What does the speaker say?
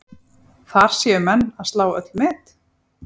Þar séu menn að slá öll met.